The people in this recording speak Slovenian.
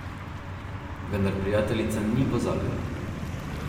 Vendar prijateljica ni pozabila.